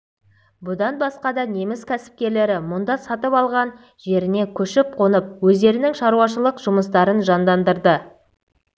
бұдан басқа да неміс кәсіпкерлері мұнда сатып алған жеріне көшіп-қонып өздерінің шаруашылық жұмыстарын жандандырды